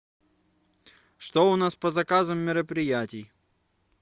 что у нас по заказам мероприятий